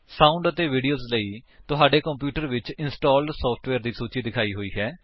sound ਅਤੇ video ਲਈ ਤੁਹਾਡੇ ਕੰਪਿਊਟਰ ਵਿੱਚ ਇੰਸਟਾਲਡ ਸੋਫਟਵੇਅਰ ਦੀ ਸੂਚੀ ਦਿਖਾਈ ਹੋਈ ਹੈ